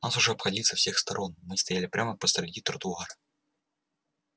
нас уже обходили со всех сторон мы стояли прямо посреди тротуара